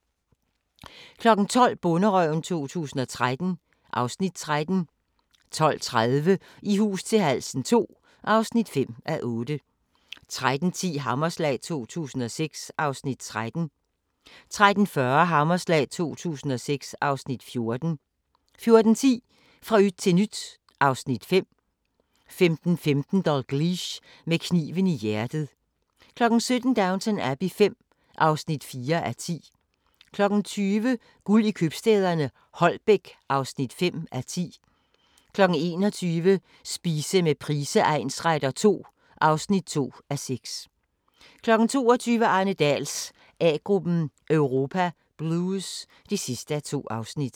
12:00: Bonderøven 2013 (Afs. 13) 12:30: I hus til halsen II (5:8) 13:10: Hammerslag 2006 (Afs. 13) 13:40: Hammerslag 2006 (Afs. 14) 14:10: Fra yt til nyt (Afs. 5) 15:15: Dalgliesh: Med kniven i hjertet 17:00: Downton Abbey V (4:10) 20:00: Guld i købstæderne – Holbæk (5:10) 21:00: Spise med Price egnsretter II (2:6) 22:00: Arne Dahls A-gruppen: Europa Blues (2:2)